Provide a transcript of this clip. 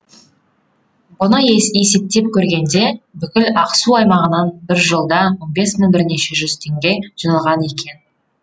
бұны есептеп көргенде бүкіл ақсу аймағынан бір жылда он бес мың бірнеше жүз теңге жиналған екен